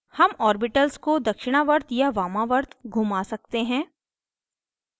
हम ऑर्बिटल्स को दक्षिणावर्त या वामावर्त घुमा सकते हैं